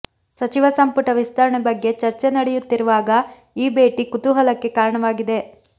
ಸಚಿವ ಸಂಪುಟ ವಿಸ್ತರಣೆ ಬಗ್ಗೆ ಚರ್ಚೆ ನಡೆಯುತ್ತಿರುವಾಗ ಈ ಭೇಟಿ ಕುತೂಹಲಕ್ಕೆ ಕಾರಣವಾಗಿದೆ